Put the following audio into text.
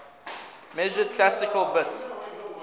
measured classical bits